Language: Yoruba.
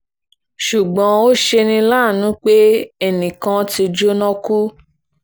ṣùgbọ́n ó ṣe ní láàánú pé ẹnì kan ti jóná kú